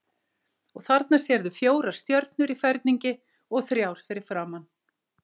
Og þarna sérðu fjórar stjörnur í ferningi og þrjár fyrir framan.